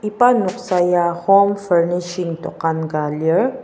iba noksa ya home furnishing dokan ka lir.